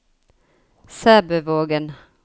Sæbøvågen